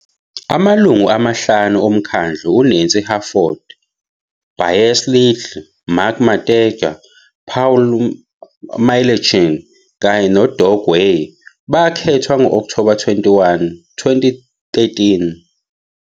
Amalungu amahlanu omkhandlu, uNancy Hartford, Bryce Liddle, Mark Matejka, Paul McLauchlin, kanye noDoug Weir, bakhethwa ngo-Okthoba 21, 2013.